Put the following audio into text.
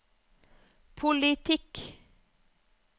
politikk